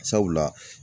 Sabula